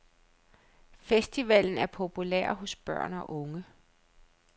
Festivalen er populær hos børn og unge.